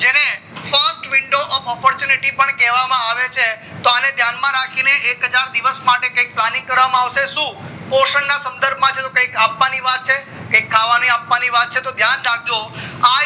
frist window of opportunity પણ કેવા માં આવે છે તો અને ધ્યાન રાખીને એક હજાર દિવસ માટે કૈક planning કરવામાં આવશે શું પોષણ ના સંદર્ભ માં ઓટ કુક આપવાની વાત છે કે ખાવા આપવાની વાત છે તો ધ્યાન રાખજો આ યોજના